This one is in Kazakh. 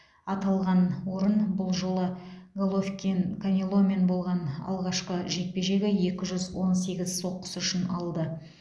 аталған орын бұл жолы головкин канеломен болған алғашқы жекпе жегі екі жүз он сегіз соққысы үшін алды